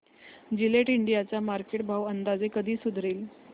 Gillette India चा market भाव अंदाजे कधी सुधारेल